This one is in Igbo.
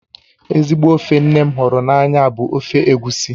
Ezigbo ofe nne m hụrụ n'anya bụ ofe egusi